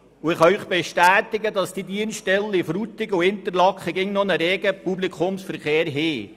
Ich kann Ihnen bestätigen, dass die Dienststellen Interlaken und Frutigen immer noch einen regen Publikumsverkehr haben.